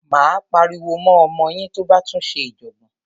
Máa pariwo mọ́ ọmọ yín tó bá tún ṣe ìjọ̀gbọ̀n.